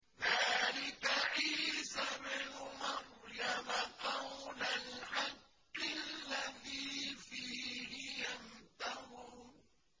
ذَٰلِكَ عِيسَى ابْنُ مَرْيَمَ ۚ قَوْلَ الْحَقِّ الَّذِي فِيهِ يَمْتَرُونَ